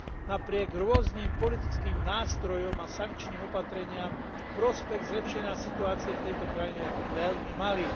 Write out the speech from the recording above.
Napriek rôznym politickým nástrojom a sankčným opatreniam v prospech zlepšenia situácie v tejto krajine je veľmi malý.